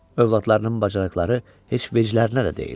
Övladlarının bacarıqları heç veclərinə də deyildi.